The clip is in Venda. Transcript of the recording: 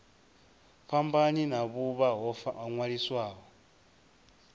fhambani na vhuvha ho ṅwaliswaho